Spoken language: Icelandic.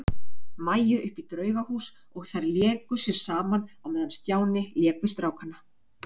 Maju upp í Draugahús og þær léku sér saman á meðan Stjáni lék við strákana.